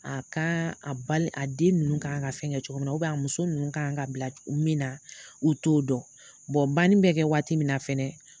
A ka a a den ninnu ka kan ka fɛn kɛ cogo min na a muso ninnu kan ka bila min na, u t'o dɔn banni bɛ kɛ waati min na fɛnɛ